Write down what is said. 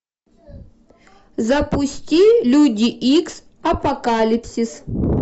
запусти люди икс апокалипсис